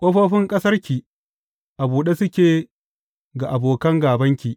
Ƙofofin ƙasarki a buɗe suke ga abokan gābanki,